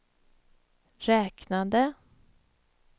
räknade